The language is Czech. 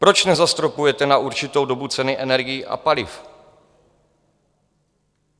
Proč nezastropujete na určitou dobu ceny energií a paliv?